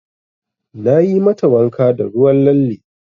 Nayi mata wanka da ruwan lalle.